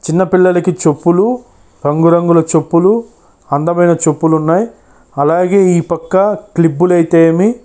చిన్న పిల్లలకి చెప్పులు రంగు రంగుల చెప్పులు అందమైన చెప్పులు ఉన్నాయి అలాగే ఈ పక్క --